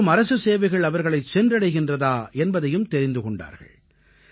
மேலும் அரசுச் சேவைகள் அவர்களைச் சென்றடைகின்றதா என்பதையும் தெரிந்து கொண்டார்கள்